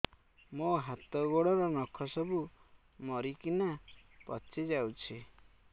ମୋ ହାତ ଗୋଡର ନଖ ସବୁ ମରିକିନା ପଚି ଯାଉଛି